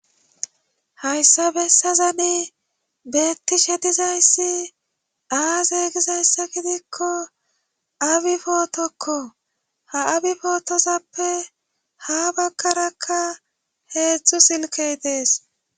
hayssa bessazane beetti shedizayssi aazeeygizayssa gidikko abi pootokko ha abi pootozappe ha bakkarakka heedzdzu silkey dees